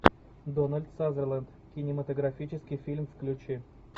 дональд сазерленд кинематографический фильм включи